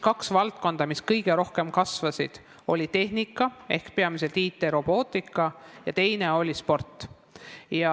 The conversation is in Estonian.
Kaks valdkonda, mis kõige rohkem kasvasid, olid tehnika ehk peamiselt IT ja robootika ning sport.